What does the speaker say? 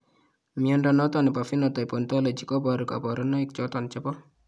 Mnyondo noton nebo Phenotype Ontology koboru kabarunaik choton chebo